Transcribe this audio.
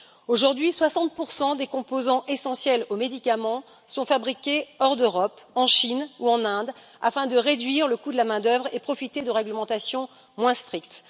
Aujourd'hui, 60 des composants essentiels aux médicaments sont fabriqués hors d'Europe, en Chine ou en Inde, afin de réduire le coût de la main d'œuvre et de profiter de réglementations moins strictes.